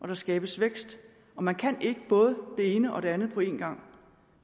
der skabes vækst og man kan ikke både det ene og det andet på en gang